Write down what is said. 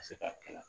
Ka se ka kɛ